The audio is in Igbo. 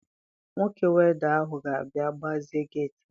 Nwoke welda ahụ ga-abịa gbazie geeti m.